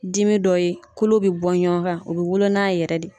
Dimi dɔ ye kolo bɛ bɔ ɲɔgɔn kan u bɔɔ wolo n'a yɛrɛ de.